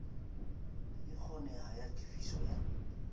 e kgonehang ya tefiso ya